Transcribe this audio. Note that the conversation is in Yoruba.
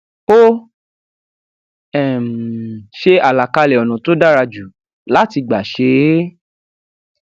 ó um ṣe àlàkalẹ ònà tó dára jù láti gbà ṣe é